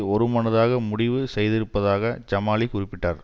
ஒருமனதாக முடிவு செய்திருப்பதாக ஜமாலி குறிப்பிட்டார்